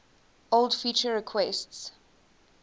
old feature requests